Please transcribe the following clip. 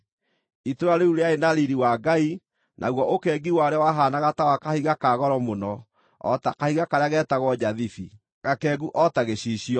Itũũra rĩu rĩarĩ na riiri wa Ngai, naguo ũkengi warĩo wahaanaga ta wa kahiga ka goro mũno, o ta kahiga karĩa getagwo njathibi, gakengu o ta gĩcicio.